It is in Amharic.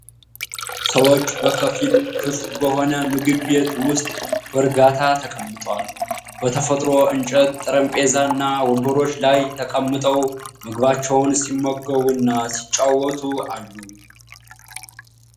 ሰዎች በከፊል ክፍት በሆነ ምግብ ቤት ውስጥ በርጋታ ተቀምጠዋል። በተፈጥሮ እንጨት ጠረጴዛና ወንበሮች ላይ ተቀምጠው ምግባቸውን ሲመገቡ እና ሲጨዋወቱ አሉ።